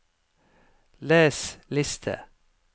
les liste